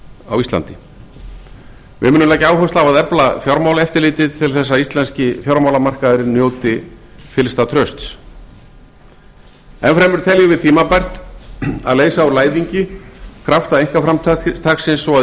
á íslandi við munum leggja áherslu á að efla fjármálaeftirlitið til þess að íslenski fjármálamarkaðurinn njóti fyllsta trausts enn fremur teljum við tímabært að leysa úr læðingi krafta einkaframtaksins svo að